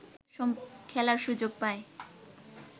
খেলার সুযোগ পায়